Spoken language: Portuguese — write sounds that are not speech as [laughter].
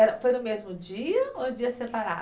[unintelligible] foi no mesmo dia ou dia separado?